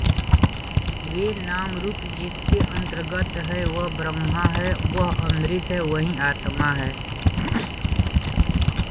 वे नामरूप जिसके अन्तर्गत हैं वह ब्रह्म है वह अमृत है वही आत्मा है